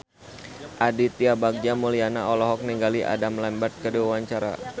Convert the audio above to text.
Aditya Bagja Mulyana olohok ningali Adam Lambert keur diwawancara